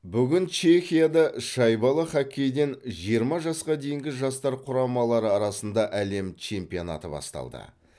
бүгін чехияда шайбалы хоккейден жиырма жасқа дейінгі жастар құрамалары арасында әлем чемпионаты басталды